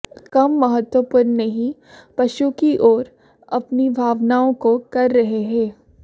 कम महत्वपूर्ण नहीं पशु की ओर अपनी भावनाओं को कर रहे हैं